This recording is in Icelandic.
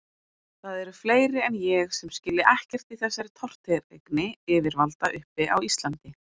Það eru fleiri en ég sem skilja ekkert í þessari tortryggni yfirvalda uppi á Íslandi.